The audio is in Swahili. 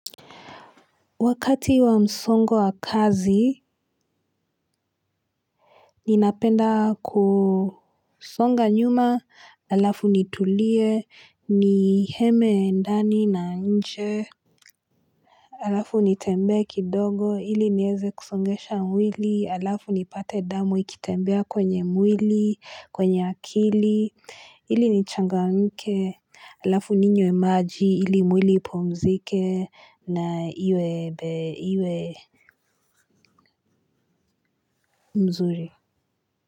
Wakati wa msongo wa kazi ninapenda kusonga nyuma alafu nitulie ni heme ndani na nje alafu nitembe kidogo ili niweze kusongesha mwili alafu nipate damu ikitembea kwenye mwili, kwenye akili ili nichangamke alafu ninywe maji ili mwili ipmzike na iwe mzuri.